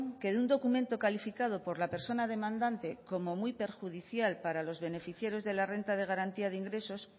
que de un documento calificado por la persona demandante como muy perjudicial para los beneficiarios de la renta de garantía de ingresos